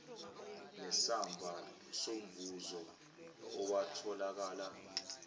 nesamba somvuzo owatholakala